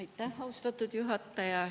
Aitäh, austatud juhataja!